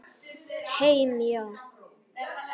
Heim, já.